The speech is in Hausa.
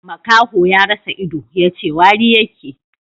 Makaho ya rasa ido, yace wari yake